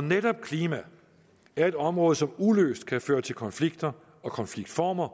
netop klima er et område som uløst kan føre til konflikter og konfliktformer